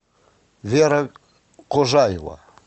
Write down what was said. вера кожаева